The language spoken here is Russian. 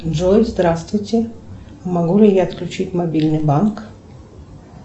джой здравствуйте могу ли я отключить мобильный банк